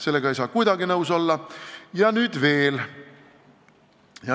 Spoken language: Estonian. Sellega ei saa kuidagi nõus olla!